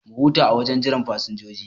Mu huta a wajen jiran fasinjoji